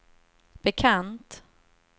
bekant